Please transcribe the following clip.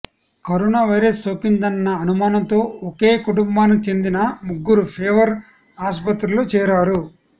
corona virus సోకిందన్న అనుమానంతో ఒకే కుటుంబానికి చెందిన ముగ్గురు ఫీవర్ ఆస్పత్రిలో చేరారు